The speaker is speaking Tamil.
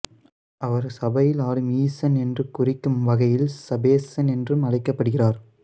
அவர் சபையில் ஆடும் ஈசன் என்று குறிக்கும் வகையில் சபேசன் என்றும் அழைக்கப்படுகிறார்